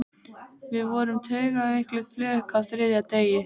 Við vorum taugaveikluð flök á þriðja degi.